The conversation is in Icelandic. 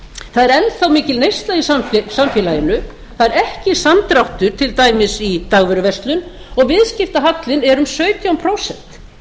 það er enn þá mikil neysla í samfélaginu það er ekki samdráttur til dæmis í dagvöruverslun og viðskiptahallinn er um sautján prósent